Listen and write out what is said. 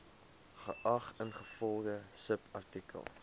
geag ingevolge subartikel